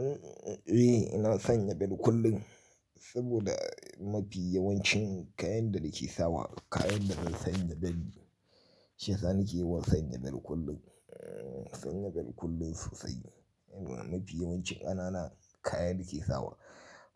Eh, ina sanya bel kullum saboda mafi yawancin kayan da nake sawa kayan da zan sanya bel ne shiyasa nake yawan sanya bel kullum, sanya bel kullum sosai. Mafi yawancin ƙanana kayan da ke sawa.